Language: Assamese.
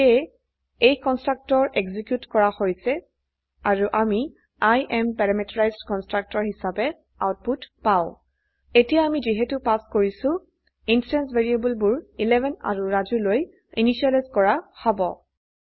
সেয়ে এই কন্সট্ৰকটৰ এক্সিকিউট কৰা হৈছে আৰু আমি I এএম পেৰামিটাৰাইজড কনষ্ট্ৰাক্টৰ হিচাবে আউটপুট পাও এতিয়া আমি যিহেতু পাস কৰাইছো ইন্সট্যান্স ভ্যাৰিয়েবল বোৰ 11 আৰু ৰাজু লৈ ইনিসিয়েলাইজ কৰা হব